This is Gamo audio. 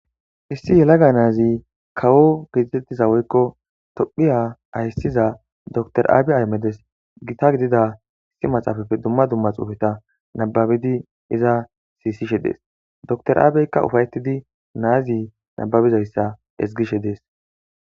Issi yelaga naazi kawo giidettiza woykko tophiya hayssiza dor aabe aymedes gita gidida issi maxaafafe dumma dumma xuufeta nababidi iza siisishe dees dr aabeykka ufayetidi naazi nababizayssa ezgishe dees.